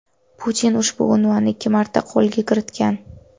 Putin ushbu unvonni ikki marta qo‘lga kiritgan.